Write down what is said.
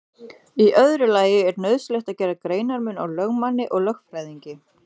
Í öðru lagi er nauðsynlegt að gera greinarmun á lögmanni og lögfræðingi.